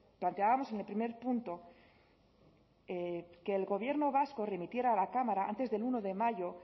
planteábamos en el primer punto que el gobierno vasco remitiera a la cámara antes del uno de mayo